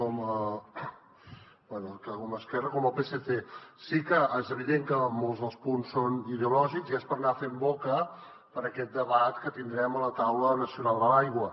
bé tant a esquerra com al psc sí que és evident que molts dels punts són ideològics i és per anar fent boca per a aquest debat que tindrem a la taula nacional de l’aigua